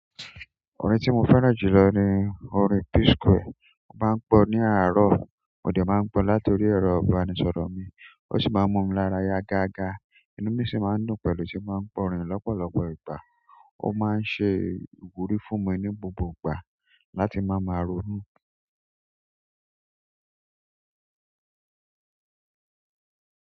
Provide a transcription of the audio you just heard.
Orin tí mo fẹ́ràn jù lọ ni orin P-Square. Mo máa ń gbọ́ ní àárọ̀, mo dẹ̀ máa ń gbọ láti orí ẹ̀rọ ìbánisọ̀rọ̀ mi, ó sì máa ń mú mi lára yá gágá. Inú mi sì máa ń dùn pẹ̀lú ti bá ń gbọ́ orin yìí lọ́pọ̀lọpọ̀ ìgbà. Ó máa ń ṣe ìwúrí fún mi ní gbogbo ìgbà láti má ma ronú.